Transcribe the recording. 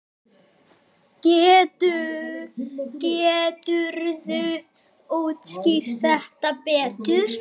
Geturðu útskýrt þetta betur?